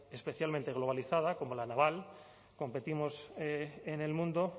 especialmente globalizada como la naval competimos en el mundo